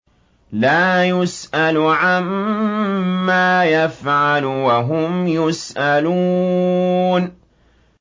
لَا يُسْأَلُ عَمَّا يَفْعَلُ وَهُمْ يُسْأَلُونَ